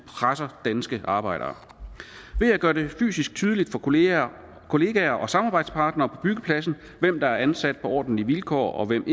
presser danske arbejdere ved at gøre det fysisk tydeligt for kollegaer kollegaer og samarbejdspartnere på byggepladsen hvem der er ansat på ordentlige vilkår og hvem